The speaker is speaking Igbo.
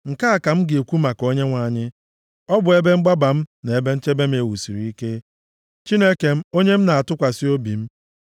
Nke a ka m ga-ekwu maka Onyenwe anyị, “Ọ bụ ebe mgbaba m na ebe nchebe m e wusiri ike, Chineke m, onye m na-atụkwasị obi m.”